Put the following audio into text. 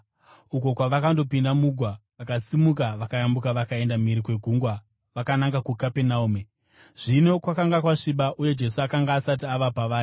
uko kwavakandopinda mugwa vakasimuka vakayambuka vakaenda mhiri kwegungwa vakananga kuKapenaume. Zvino kwakanga kwasviba, uye Jesu akanga asati ava pavari.